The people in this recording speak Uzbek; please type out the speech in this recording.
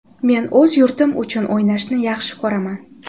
Men o‘z yurtim uchun o‘ynashni yaxshi ko‘raman.